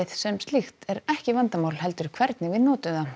sem slíkt er ekki vandamál heldur hvernig við notum það